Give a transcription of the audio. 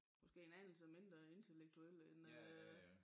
Måske en anelse mindre intellektuelle end øh